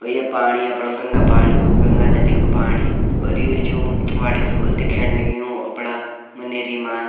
और ये पाणी अपणा गंगा पाणी गंगा नदी कु पाणी अर यु जू वाटर फॉल दिखेण लग्युं अपना मनेरी मा --